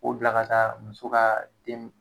O bila ka taa muso ka den.